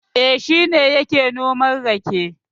E, shi ne yake noman rake.